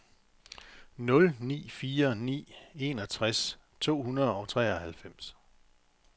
nul ni fire ni enogtres to hundrede og treoghalvfems